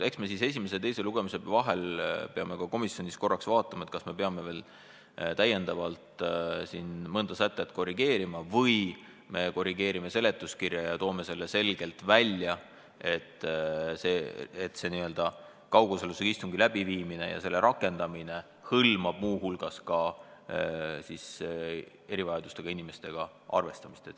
Eks me esimese ja teise lugemise vahel peame komisjonis veel vaatama, kas me peame täiendavalt mõnda sätet või seletuskirja korrigeerima, et selgelt välja tuua, et kaugosalusega istungi läbiviimine hõlmab ka erivajadustega inimestega arvestamist.